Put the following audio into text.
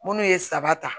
Munnu ye saba ta